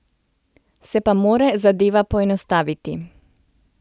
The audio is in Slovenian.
Se pa mora zadeva poenostaviti.